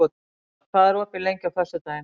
Olav, hvað er opið lengi á föstudaginn?